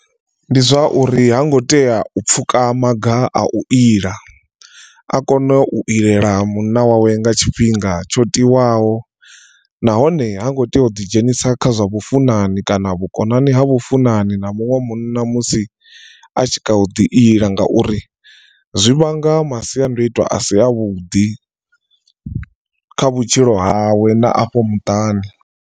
Ndi zwa uri ha ngo tea u pfhuka maga a u ila a kone u ilela munna wawe nga tshifhinga tsho tiwaho nahone ha ngo tea u ḓi dzhenisa kha zwa vhufunani kana na vhukonani ha vhufunani na muṅwe munna musi a tshi kha ḓi ila ngauri zwi vhanga masiandoitwa a si avhuḓi kha vhutshilo hawe na afho muṱani.